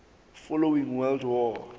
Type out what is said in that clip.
following world war